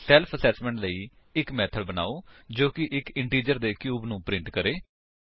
self assessment ਲਈ ਇੱਕ method ਬਨਾਓ ਜੋ ਇੱਕ ਇੰਟਿਜਰ ਦੇ ਕਿਊਬ ਨੂੰ ਪ੍ਰਿੰਟ ਕਰੇ